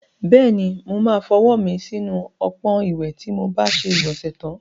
Bẹ́ẹ̀ni, mo máa fọwọ́ mi sínú ọpọ́n ìwẹ̀ tí mo bá ṣe ìgbọ̀nsẹ̀ tán.